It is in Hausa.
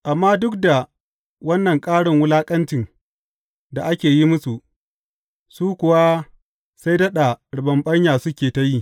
Amma duk da wannan ƙarin wulaƙancin da ake yi musu, su kuwa sai daɗa riɓaɓɓanya suke ta yi.